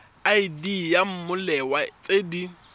id ya mmoelwa tse di